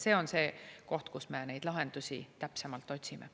See on see koht, kus me neid lahendusi täpsemalt otsime.